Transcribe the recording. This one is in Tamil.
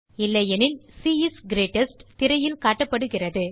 இல்லையெனில் சி இஸ் கிரீட்டெஸ்ட் திரையில் காட்டப்படுகிறது